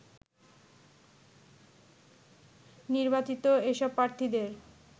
নির্বাচিত এসব প্রার্থীদের